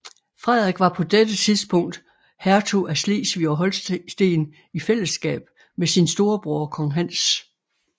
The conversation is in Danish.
Frederik var på dette tidspunkt hertug af Slesvig og Holsten i fællesskab med sin storebror kong Hans